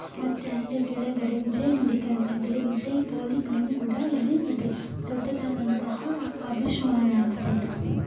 ಮತ್ತೆ ಅಲ್ಲೇ ಕೆಳಗಡೆ ವಿಜಯ್ ಮೆಡಿಕಲ್ಸ್ ಇದೆ ವಿಜಯ್ ಪಾಲಿಕ್ಲಿನಿಕ್ ಕೂಡ ಇಲ್ಲಿ ಇದೆ ದೊಡ್ಡದಾದಂತಹ ಅಭಿಶ್ ಮಾಲ್ ಆಗಿದೆ ಇದು.